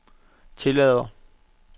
tillader